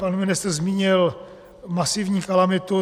Pan ministr zmínil masivní kalamitu.